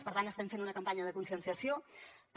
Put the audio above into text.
per tant estem fent una campanya de conscienciació per